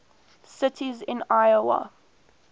cities in iowa